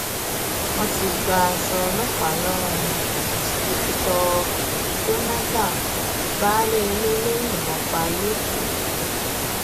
wọn ti gba aṣọ ọlọpàá lọrun špíkítọ jonathan baálé ilé ló yìnbọn pa lẹkọọ